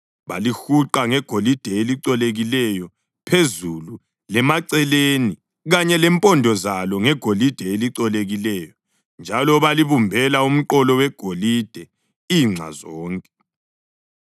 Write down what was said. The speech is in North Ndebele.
Balihuqa ngegolide elicolekileyo phezulu, lemaceleni kanye lempondo zalo ngegolide elicolekileyo njalo balibumbela umqolo wegolide inxa zonke.